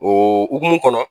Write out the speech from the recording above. hukumu kɔnɔ